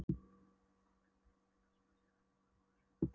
Hún átti í textanum að segja við Móður-Vor